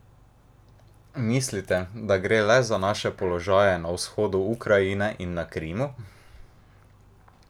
Mislite, da gre le za naše položaje na vzhodu Ukrajine in na Krimu?